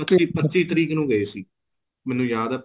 ਅਸੀਂ ਪੱਚੀ ਤਰੀਕ ਨੂੰ ਗਏ ਸੀ ਮੈਨੂੰ ਯਾਦ ਹੈ